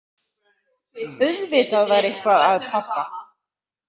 Auðvitað var eitthvað að pabba.